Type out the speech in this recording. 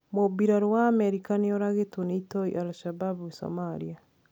Mũmbirarũ wa Amerika nioragitwo ni itoi al-Shabab Somalia.